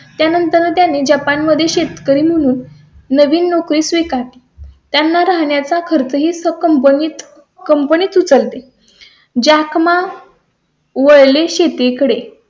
त्यानंतर त्यांनी जपान मध्ये शेतकरी म्हणून नवीन नोकरी स्वीकार ते. त्यांना राहण्या चा खर्च हीच कंपनीत कंपनीच उचलते. ज्या कामा वळले शेतीकडे